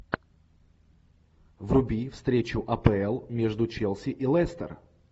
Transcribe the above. вруби встречу апл между челси и лестер